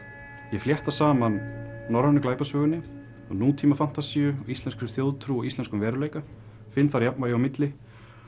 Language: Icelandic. ég flétta saman norrænu glæpasögunni nútíma fantasíu íslenskri þjóðtrú og íslenskum veruleika finn þar jafnvægi á milli